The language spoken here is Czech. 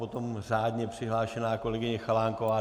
Potom řádně přihlášená kolegyně Chalánková.